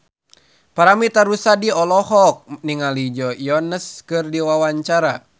Paramitha Rusady olohok ningali Joe Jonas keur diwawancara